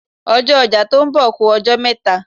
Ọjọ́ ọjà tó ń bọ̀ ku ọjọ́ mẹ́ta.